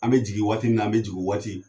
An mɛ jigin waati ni an mɛ jigin o waati